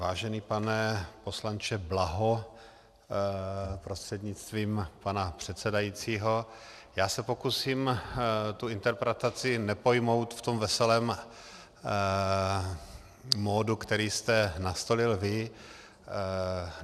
Vážený pane poslanče Blaho prostřednictvím pana předsedajícího, já se pokusím tu interpretaci nepojmout v tom veselém módu, který jste nastolil vy.